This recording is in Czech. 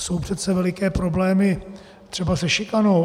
Jsou přece veliké problémy třeba se šikanou.